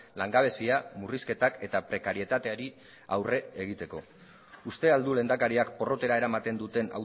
langabezia murrizketak eta prekarietateari aurre egiteko uste al du lehendakariak porrotera eramaten duten